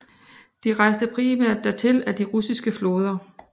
De rejste primært dertil ad de russiske floder